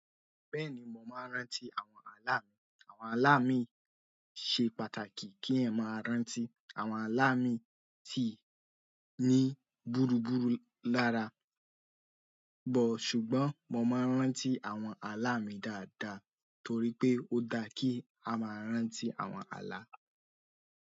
Bẹ́ẹ̀ni, mo máa ń rántí àwọn ààlá mi. Àwọn ààlá mi ṣe pàtàkì kí n máa rántí. Àwọn ààlá mii ti ní búrubúru lára ṣùgbọ́n mo máa n rántí àwọn ààlá mi dáadáa torí pé ó dáa kí á máa rántí àwọn ààlá.